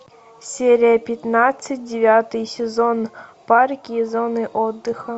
серия пятнадцать девятый сезон парки и зоны отдыха